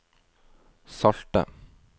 salte